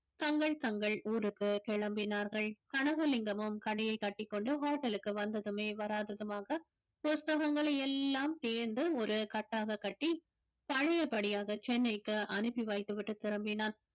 தங்கள் தங்கள் ஊருக்கு கிளம்பினார்கள் கனகலிங்கமும் கடையை கட்டிக்கொண்டு hotel லுக்கு வந்ததுமே வராததுமாக புஸ்தகங்களை எல்லாம் சேர்ந்து ஒரு கட்டாக கட்டி பழையபடியாக சென்னைக்கு அனுப்பி வைத்து விட்டு திரும்பினான்